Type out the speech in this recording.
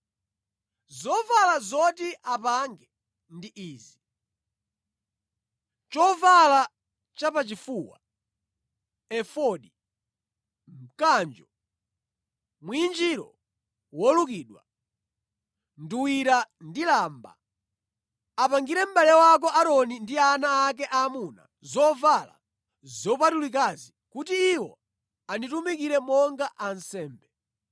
Zovala zoti apange ndi izi: chovala chapachifuwa, efodi, mkanjo, mwinjiro wolukidwa, nduwira ndi lamba. Apangire mʼbale wako Aaroni ndi ana ake aamuna zovala zopatulikazi kuti iwo anditumikire monga ansembe.